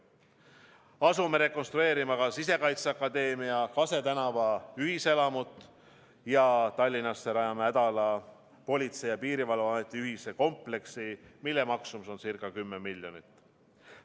Asume rekonstrueerima ka Sisekaitseakadeemia Kase tänava ühiselamut ja Tallinnasse Ädala tänavale rajama Politsei- ja Piirivalveameti ühist kompleksi, mille maksumus on ca 10 miljonit.